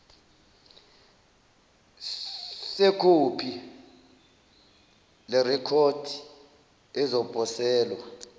sekhophi lerekhodi ezoposelwa